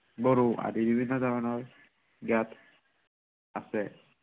বড়ো আদি বিভিন্ন ধৰণৰ ইয়াত আছে।